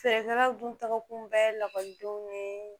Feerekɛlaw dun tagakun bɛɛ ye lakɔlidenw ni